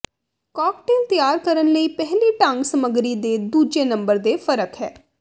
cocktail ਤਿਆਰ ਕਰਨ ਲਈ ਪਹਿਲੀ ਢੰਗ ਸਮੱਗਰੀ ਦੇ ਦੂਜੇ ਨੰਬਰ ਦੇ ਫ਼ਰਕ ਹੈ